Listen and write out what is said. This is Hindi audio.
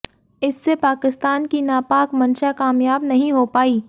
इससे पाकिस्तान की नापाक मंशा कामयाब नहीं हो पाई